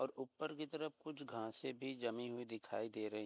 और ऊपर की तरफ कुछ घासे भी जमी हुई दिखाई दे रही --